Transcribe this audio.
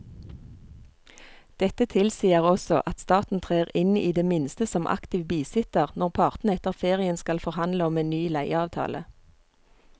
Dette tilsier også at staten trer inn i det minste som aktiv bisitter når partene etter ferien skal forhandle om en ny leieavtale.